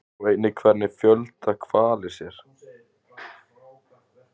Sjá einnig Hvernig fjölga hvalir sér?